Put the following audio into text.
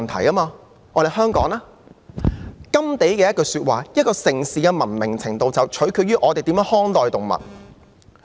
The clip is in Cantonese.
甘地的一句說話是，"一個城市的文明程度取決於人們如何看待動物"。